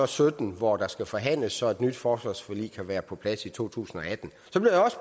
sytten hvor der skal forhandles så et nyt forsvarsforlig kan være på plads i to tusind og atten